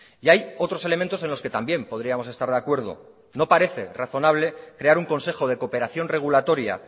y hay otros elementos en los que también podríamos estar de acuerdo no parece razonable crear un consejo de cooperación regulatoria